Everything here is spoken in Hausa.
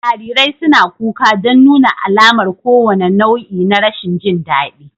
Jarirai suna kuka don nuna alamar kowane nau'i na rashin jin daɗi